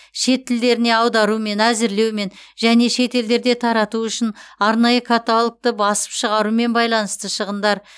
шет тілдеріне аударумен әзірлеумен және шетелдерде тарату үшін арнайы каталогты басып шығарумен байланысты шығындар